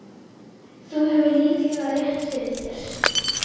Þú hefur líklega rétt fyrir þér